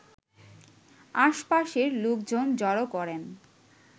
আশপাশের লোকজন জড়ো করেন